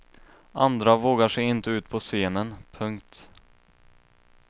Andra vågar sig inte ut på scenen. punkt